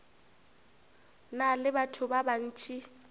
na le batho ba bantši